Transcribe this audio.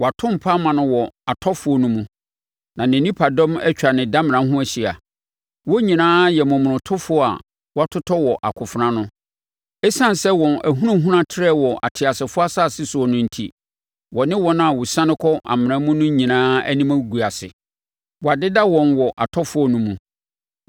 Wɔato mpa ama no wɔ atɔfoɔ no mu, na ne nipadɔm atwa ne damena ho ahyia. Wɔn nyinaa yɛ momonotofoɔ a wɔatotɔ wɔ akofena ano. Esiane sɛ wɔn ahunahuna trɛɛ wɔ ateasefoɔ asase soɔ no enti, wɔne wɔn a wɔsiane kɔ amena mu no nyinaa anim agu ase. Wɔadeda wɔn wɔ atɔfoɔ no mu.